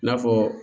I n'a fɔ